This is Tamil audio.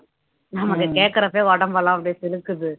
நமக்கு கேக்கறப்பவே உடம்பெல்லாம் அப்படியே சிலுக்குது